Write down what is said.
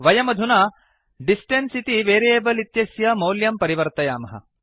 वयमधुना डिस्टेन्स् इति वेरियेबल् इत्यस्य मौल्यं परिवर्तयामः